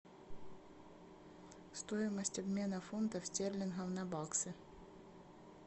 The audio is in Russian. стоимость обмена фунтов стерлингов на баксы